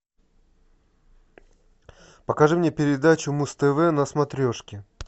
покажи мне передачу муз тв на смотрешке